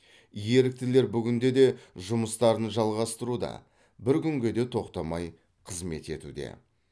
еріктілер бүгінде де жұмыстарын жалғастыруда бір күнге де тоқтамай қызмет етуде